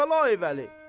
Kərbəlayi Vəli!